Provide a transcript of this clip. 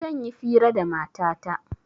Zan yi fira da matata